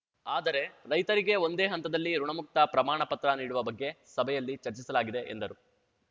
ಆದರೆ ರೈತರಿಗೆ ಒಂದೇ ಹಂತದಲ್ಲಿ ಋುಣಮುಕ್ತ ಪ್ರಮಾಣ ಪತ್ರ ನೀಡುವ ಬಗ್ಗೆ ಸಭೆಯಲ್ಲಿ ಚರ್ಚಿಸಲಾಗಿದೆ ಎಂದರು